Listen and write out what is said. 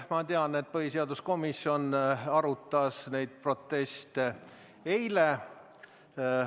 Ma tean, et põhiseaduskomisjon arutas neid proteste eile.